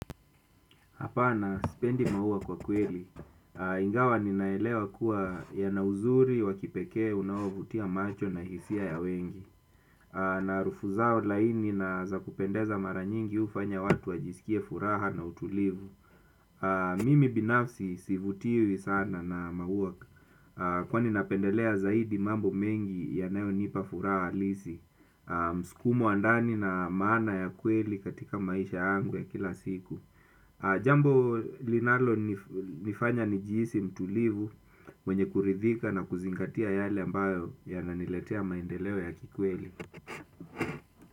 Hapana, sipendi maua kwa kweli. Ingawa ninaelewa kuwa ya na uzuri, wakipekee, unaovutia macho na hisia ya wengi. Na harufu zao laini na za kupendeza mara nyingi ufanya watu wajisikie furaha na utulivu. Mimi binafsi sivutiwi sana na maua kwani na pendelea zaidi mambo mengi yanayo nipa furaha halisi. Mskumo wa ndani na maana ya kweli katika maisha yangu ya kila siku. Jambo linalo nifanya nijihisi mtulivu mwenye kuridhika na kuzingatia yale ambayo yananiletea maendeleo ya kikweli.